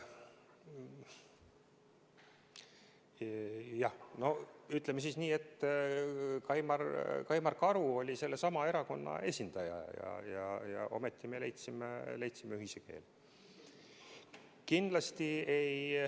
Jah, no ütleme nii, et Kaimar Karu oli sellesama erakonna esindaja ja ometi me leidsime ühise keele.